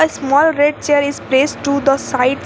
Small red chair is place to the sides.